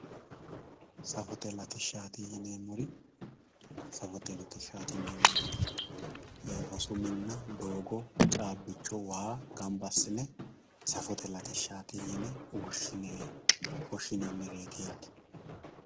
Safote latishshati yineemmori ,safote latishshati yineemmori rosu minna doogo caabbicho waa gamba assine safote latishshati yine woshinannireti yaate.